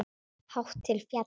Hátt til fjalla?